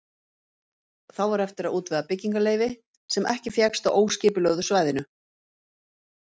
Þá var eftir að útvega byggingarleyfi, sem ekki fékkst á óskipulögðu svæðinu.